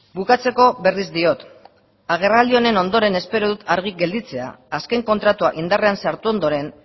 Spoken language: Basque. bukatzeko berriz diot agerraldia honen ondoren espero dut argi gelditzea azken kontratua indarrean sartu ondoren